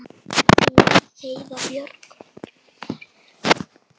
Þín Heiða Björg.